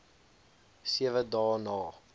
sewe dae na